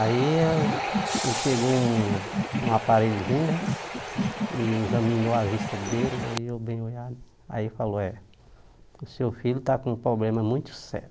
Aí ele ele pegou um um aparelhozinho, né, e examinou a vista dele, e eu bem, aí falou, é, o seu filho está com um problema muito sério.